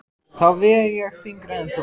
Þá veg ég þyngra en þú.